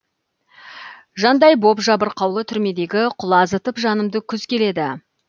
жандай боп жабырқаулы түрмедегі құлазытып жанымды күз келеді